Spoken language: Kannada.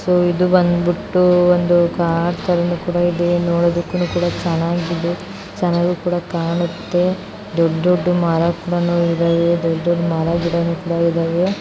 ಸೋ ಇದು ಬಂದುಬಿಟ್ಟು ಒಂದು ಕಾರ್ ತರನು ನೋಡೋದಕ್ಕು ಚೆನಾಗಿದೆ ಚೆನ್ನಾಗಿ ಕೂಡ ಕಾಣುತ್ತೆ ದೊಡ್ಡ ದೊಡ್ಡ ಮರ ಗಿಡನೂ ಇದಾವೆ .